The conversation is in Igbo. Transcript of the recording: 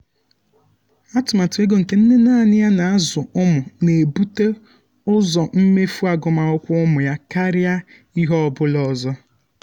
atụmatụ ego nke nne nanị ya na-azụ ụmụ na-ebute ụzọ mmefu agụmakwụkwọ ụmụ ya karịa ihe ọ bụla ọzọ.